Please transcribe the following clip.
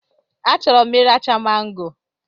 A chọrọ m iracha mango